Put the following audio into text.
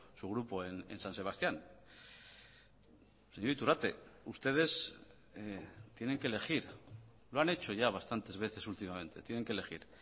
su grupo en san sebastián señor iturrate ustedes tienen que elegir lo han hecho ya bastantes veces últimamente tienen que elegir